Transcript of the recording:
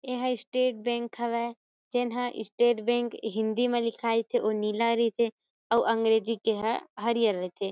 ए ह state bank हवय जे न स्टेट बैंक हिंदी में लिखाए थे उ नीला रईथे अउ अंग्रेजी के ह हरियर रईथे।